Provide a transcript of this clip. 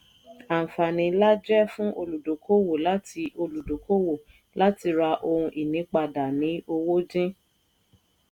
àǹfààní ńlá jẹ́ fún olùdókòwò láti olùdókòwò láti ra ohun ìní padà ní owó dín.